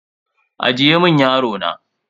Ajiye mun yaro na.